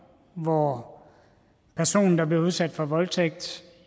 hvor personen der bliver udsat for voldtægt